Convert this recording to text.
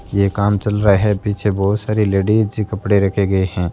ये काम चल रहा है पीछे बहोत सारी लेडिज कपड़े रखे गए हैं।